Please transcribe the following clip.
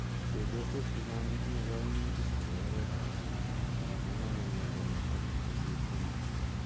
chepyosok chechaang kotinye kaimutik chepo oreet ap beek. alak koname miondo nitok kosir somok.